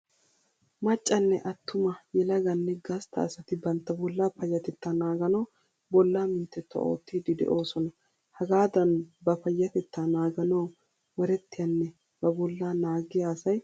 Maccanne attuma yelaganne gasta asati bantta bollaa payatettaa naaganawu bollaa minttettuwa oottidi de'oosona. Hagaadan ba payatettaa naganawu waretiyanne ba bolla naagiya asay tana ayba ufaysiisha.